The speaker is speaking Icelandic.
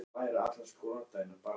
Örn hnippti í hann og benti út.